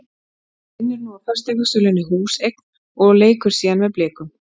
Hann vinnur nú á fasteignasölunni Húseign og leikur síðan með Blikum.